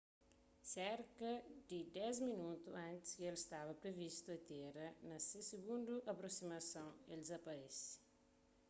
serka di dês minotu antis ki el staba privistu atéra na se sigundu aprosimason el dizaparese